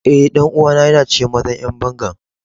Eh, dan uwa na yana cikin mazan yan bangan.